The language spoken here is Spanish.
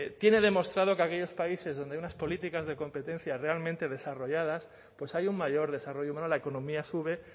tiene demostrado que aquellos países donde hay unas políticas de competencia realmente desarrolladas pues hay un mayor desarrollo bueno la economía sube